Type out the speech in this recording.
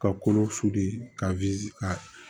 Ka kolo ka ka